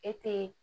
E te